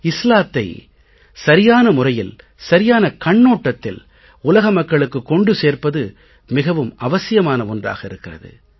இஸ்லாத்தை சரியான முறையில் சரியான கண்ணோட்டத்தில் உலக மக்களுக்குக் கொண்டு சேர்ப்பது மிகவும் அவசியாமான ஒன்றாக இருக்கிறது